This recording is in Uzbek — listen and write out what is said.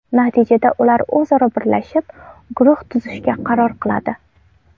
Natijada ular o‘zaro birlashib, guruh tuzishga qaror qiladi.